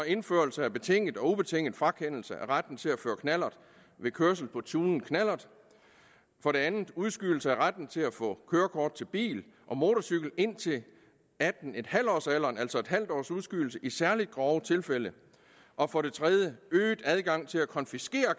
indførelse af betinget og ubetinget frakendelse af retten til at føre knallert ved kørsel på tunet knallert for det andet udskydelse af retten til at få kørekort til bil og motorcykel indtil atten en halv års alderen altså et halvt års udskydelse i særlig grove tilfælde og for det tredje øget adgang til at konfiskere